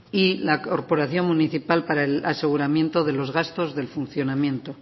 y la corporación municipal para el aseguramiento de los gastos del funcionamiento